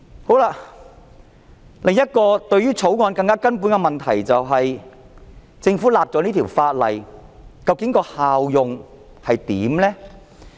《條例草案》另一個更根本的問題是，政府訂立此項法例的效用究竟是甚麼？